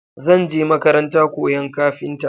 Zan je makaranta koyan kafinta.